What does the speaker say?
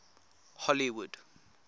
hollywood